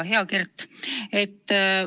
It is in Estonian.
Hea Kert!